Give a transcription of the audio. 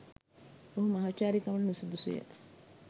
ඔහු මහාචාර්යකමට නුසුදුසුය.